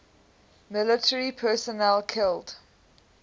military personnel killed